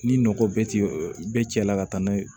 Ni nɔkɔ bɛɛ ti bɛɛ cɛla ka taa n'a ye